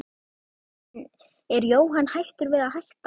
En er Jóhann hættur við að hætta?